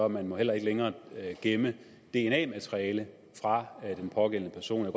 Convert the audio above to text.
man må heller ikke længere gemme dna materiale fra de pågældende personer